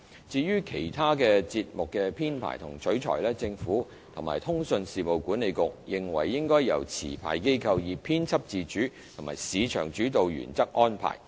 至於其他節目的編排和取材，政府及通訊事務管理局認為應由持牌機構以編輯自主及市場主導原則安排。